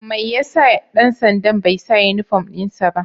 Mai ya sa dan sanda'n bai sa uniform din sa ba?